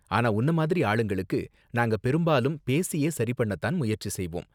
ஆனா உன்ன மாதிரி ஆளுங்களுக்கு, நாங்க பெரும்பாலும் பேசியே சரி பண்ண தான் முயற்சி செய்வோம்.